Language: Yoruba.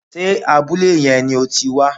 Sé abúlé yẹn ni o ti wá